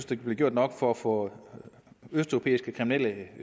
der blev gjort nok for at få østeuropæiske kriminelle